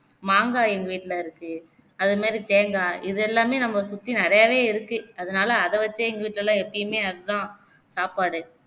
மாங்காய் எங்க வீட்டிலே இருக்கு அதே மாதிரி தேங்காய் இதெல்லாமே நம்மள சுத்தி நிறையாவே இருக்கு அதனாலே அதவச்சே எங்க வீட்டிலலாம் எப்பயுமே அதுதான் சாப்பாடு